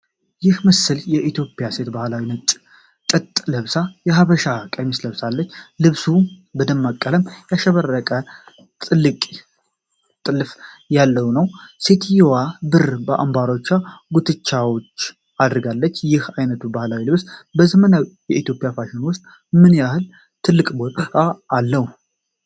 ይህ ምስል የኢትዮጵያ ሴት ባህላዊ ነጭ የጥጥ ልብስ (የሐበሻ ቀሚስ) ለብሳለች። ልብሱ በደማቅ ቀለም ያሸበረቀ ጥልፍ ያለው ሲሆን፣ ሴትየዋም ብር አንባሮችና ጉትቻዎች አድርጋለች። ይህ ዓይነቱ ባህላዊ ልብስ በዘመናዊ የኢትዮጵያ ፋሽን ውስጥ ምን ያህል ትልቅ ቦታ አለው?